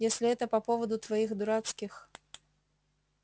если это по поводу твоих дурацких